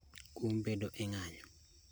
kuom bedo e ng'anyo